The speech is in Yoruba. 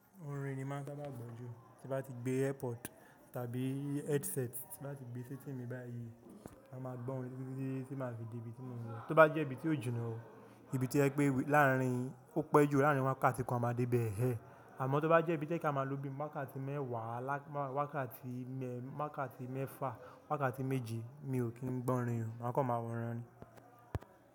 Orin ni màá sábà gbò jù, tí bá ti gbé earpod tàbí headset ti bá ti gbé sí timi báyìí, mà máa gbọ́ orin díndín tí màá fi di ibi tí mò ń lọ. Tó bá jẹ́ ibi tí ó jìnnà o, ibi tí ẹ pé láàárín, ó pẹ́ jù láàárín wákàtí kan a máa dé bẹ̀ẹ̀. Àmọ́ tó bá jẹ́ ibi tí a máa lò bí wákàtí mẹ́wàá, wákàtí méfà, wákàtí méje, mi ò kí ń gbọ́ orin, màá kọ́ máa wọ́n ránní.